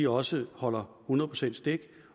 også holder hundrede procent stik